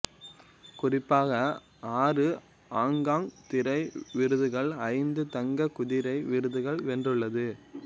குறிப்பாக ஆறு ஆங்காங் திரை விருதுகள் ஐந்து தங்கக் குதிரை விருதுகள் வென்றுள்ளது